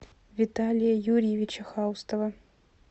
виталия юрьевича хаустова